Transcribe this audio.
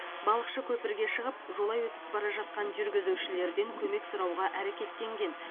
балықшы көпірге шығып жолай өтіп бара жатқан жүргізушілерден көмек сұрауға әрекеттенген